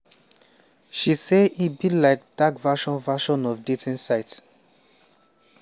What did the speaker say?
she say e be like dark version version of dating site.